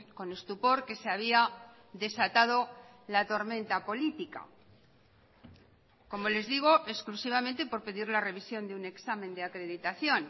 con estupor que se había desatado la tormenta política como les digo exclusivamente por pedir la revisión de un examen de acreditación